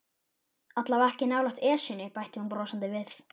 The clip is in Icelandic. Allavega ekki nálægt Esjunni bætti hún brosandi við.